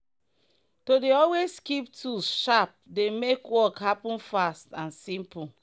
to dey always keep tools sharp dey make work happen fast and simple.